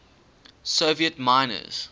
soviet miners